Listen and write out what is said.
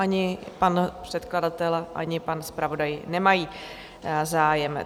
Ani pan předkladatel, ani pan zpravodaj nemají zájem.